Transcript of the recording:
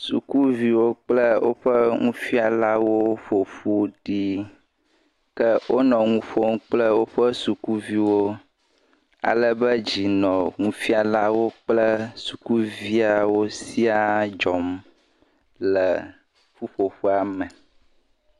Sukuviwo kple woƒe nufialawo ƒoƒu ɖi ke wonɔ nu ƒom kple woƒe sukuviwo, ale be dzi nɔ sukuviawo kple nufialawo katã dzɔm le ƒuƒoƒea me.